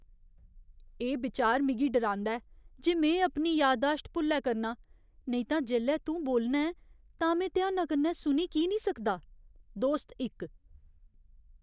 एह् बचार मिगी डरांदा ऐ जे में अपनी यादाश्त भुल्लै करना आं नेईं तां जेल्लै तूं बोलना ऐं तां में ध्याना कन्नै सुनी की निं सकदा? दोस्त इक